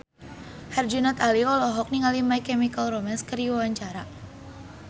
Herjunot Ali olohok ningali My Chemical Romance keur diwawancara